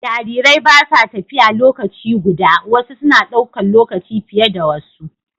Jarirai ba sa tafiya lokaci guda, wasu suna ɗaukar lokaci fiye da wasu